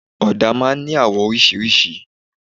Ọ̀dà máa n ní àwọ̀ orísirísi